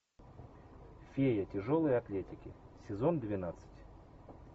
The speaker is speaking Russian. фея тяжелой атлетики сезон двенадцать